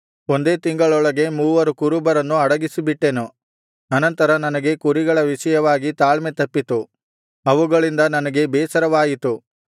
ಒಂದೇ ತಿಂಗಳೊಳಗೆ ಮೂವರು ಕುರುಬರನ್ನು ಅಡಗಿಸಿಬಿಟ್ಟೆನು ಅನಂತರ ನನಗೆ ಕುರಿಗಳ ವಿಷಯವಾಗಿ ತಾಳ್ಮೆ ತಪ್ಪಿತು ಅವುಗಳಿಂದ ನನಗೆ ಬೇಸರವಾಯಿತು